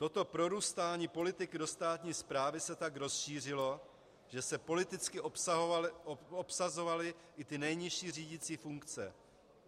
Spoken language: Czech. Toto prorůstání politiky do státní správy se tak rozšířilo, že se politicky obsazovaly i ty nejnižší řídicí funkce.